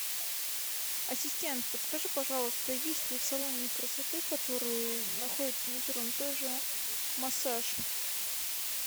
ассистент подскажи пожалуйста есть ли в салоне красоты который находится на первом этаже массаж